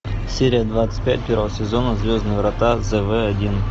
серия двадцать пять первого сезона звездные врата зв один